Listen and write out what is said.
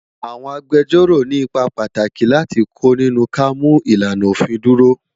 Awòn Ágbèjòró ni ipá pàtáki láti kó ninú ká mú ilánà ófin dúró